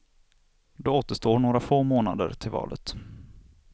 Då återstår några få månader till valet.